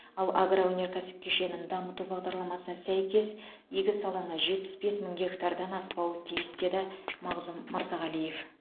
ал агроөнеркәсіп кешенін дамыту бағдарламасына сәйкес егіс алаңы жетпіс бес мың гектардан аспауы тиіс деді мағзұм мырзағалиев